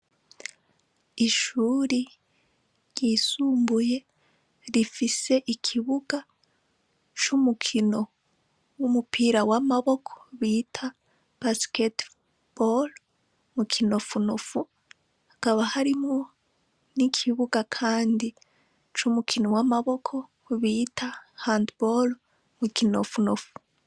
Ishuri ryisumbuye rifise ikibuga c'umukino w'umupira w'amaboko bita basketebal mu kinofunofu hakaba harimwo n'ikibuga, kandi c'umukino w'amaboko bita hantbolo mukinofunofu.